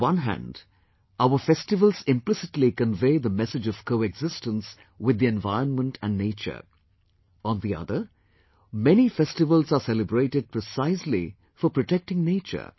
On the one hand, our festivals implicitly convey the message of coexistence with the environment and nature; on the other, many festivals are celebrated precisely for protecting nature